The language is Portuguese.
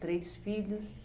Três filhos.